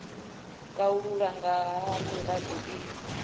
kalulaho nga ha mirado i